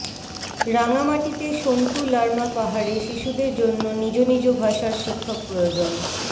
রাঙামাটিতে সন্তু লারমা পাহাড়ে শিশুদের জন্য নিজ নিজ ভাষার শিক্ষক প্রয়োজন